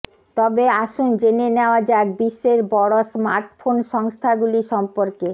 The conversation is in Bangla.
তবে আসুন জেনে নেওয়া যাক বিশ্বের বড় স্মার্টফোন সংস্থাগুলি সম্পর্কে